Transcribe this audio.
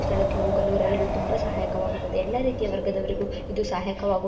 ಸ್ಥಳಕ್ಕೆ ಹೋಗಲು ರೈಲು ತುಂಬಾ ಸಹಾಯಕವಾಗುತ್ತದೆ ಎಲ್ಲ ರೀತಿಯ ವರ್ಗದವರಿಗು ಇದು ಸಹಾಕವಾಗು --